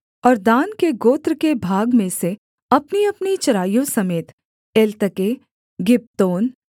और दान के गोत्र के भाग में से अपनीअपनी चराइयों समेत एलतके गिब्बतोन